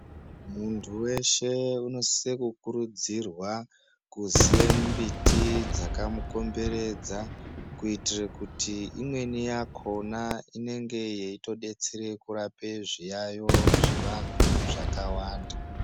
Muntu weshe unosise kukurudzirwa kuziye mbiti dzaka mukomberedza kuitire kuti imweni yakona inenge ichitorapa zviyayiyo zvevanhu zvakatowanda .